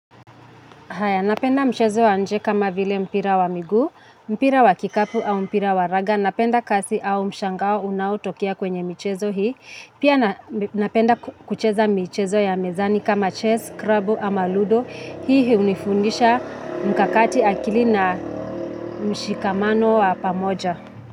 Haya, napenda mchezo wanje kama vile mpira wa miguu, mpira wa kikapu au mpira wa raga. Napenda kasi au mshangao unaotokea kwenye michezo hii. Pia napenda kucheza mchezo ya mezani kama chess, krabu ama ludo. Hii unifundisha mkakati akili na mshikamano wa pamoja.